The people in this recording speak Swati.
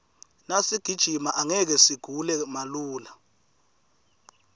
nasigijima angeke sigule malula